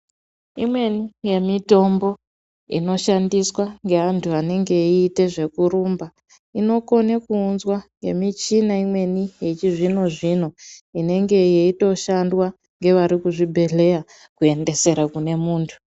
Imweni yemitombo inoshandiswa ngeanthu anenge eiita zvekurumba inokona kuunzwa ngemichina imweni yechizvino zvino inenge yeitoshandwa ngevari kuzvibhedhlera kuendesere kune munthu.